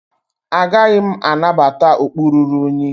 Agaghị m anabata okpu ruru unyi